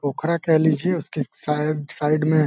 पोखरा कह लीजिये उसके साइड साइड में --